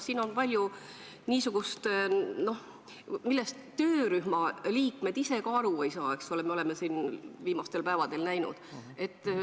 Siin on palju niisugust, millest töörühma liikmed ka ise aru ei saa, eks ole, me oleme seda viimastel päevadel näinud.